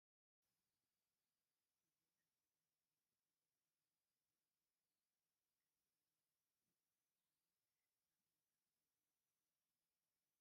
እዚ ኣብ ጥንታዊት ከተማ ኣክሱም ዝርከብ ሓወልቲ እዩ። እዚ ኣወልቲ እዚ ካብ እምኒ ዝተሰርሓ ኮይኑ ካብቶም ጠጠው ኢሎም ዝረከቡ ሓወልቲ ሓደ እዩ።